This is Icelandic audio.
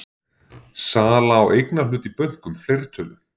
Sala á eignarhlut í bönkum, fleirtölu?